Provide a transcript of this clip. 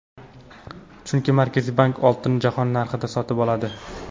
Chunki Markaziy bank oltinni jahon narxida sotib oladi.